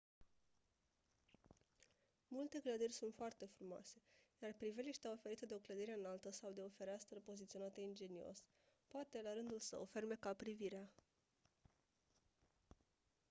multe clădiri sunt foarte frumoase iar priveliștea oferită de o clădire înaltă sau de o fereastră poziționată ingenios poate la rândul său fermeca privirea